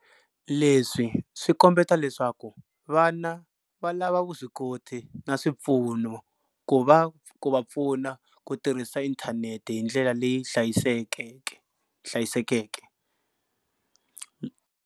Leswi swi kombeta leswaku vana va lava vuswikoti na swipfuno ku va pfuna ku tirhisa inthanete hi ndlela leyi hlayisekeke.